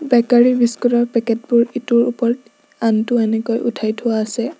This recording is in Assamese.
বেকাৰি বিস্কুট ৰ পেকেট বোৰ ইটোৰ ওপৰত আনটো এনেকৈ উঠাই থোৱা আছে।